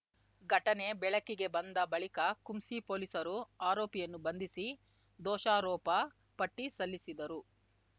ಘಟನೆ ಬೆಳಕಿಗೆ ಬಂದ ಬಳಿಕ ಕುಂಸಿ ಪೊಲೀಸರು ಆರೋಪಿಯನ್ನು ಬಂಧಿಸಿ ದೋಷಾರೋಪ ಪಟ್ಟಿಸಲ್ಲಿಸಿದರು